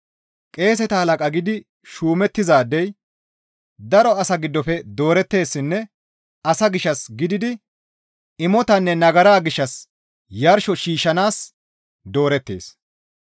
Qeeseta halaqa gidi shuumettizaadey daro asaa giddofe dooretteessinne asa gishshas gididi imotanne nagara gishshas yarsho shiishshanaas doorettees.